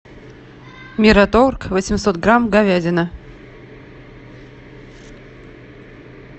мираторг восемьсот грамм говядина